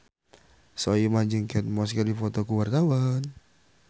Soimah jeung Kate Moss keur dipoto ku wartawan